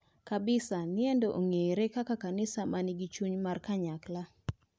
Kabisa niendo ong'ere kaka kanisa manigi chuny mar kanyakla.